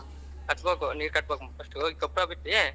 ಕಟ್ಟಬೇಕು ನೀರ್ ಕಟ್ಟಬೇಕು first ಕೊಪ್ಲ ಬಿಟ್ಟಿ.